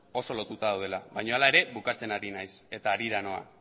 oso lotuta daudela baina hala ere bukatzen ari naiz eta harira noa